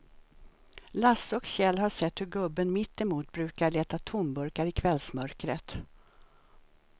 Lasse och Kjell har sett hur gubben mittemot brukar leta tomburkar i kvällsmörkret.